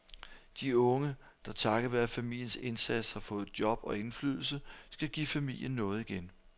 De unge, der takket være familiens indsats har fået job og indflydelse, skal give familien noget igen.